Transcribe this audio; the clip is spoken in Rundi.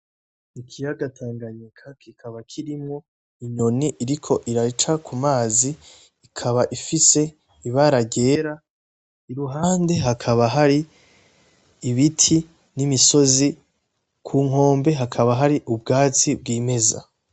Ikiyaga Tanganyika kikaba kirimwo niyoni iriko iraca k'umazi Ikaba ifise ibara ryera, iruhande hakaba hari ibiti n'imisozi kunkombe hakaba hari ubwatsi bwimeza.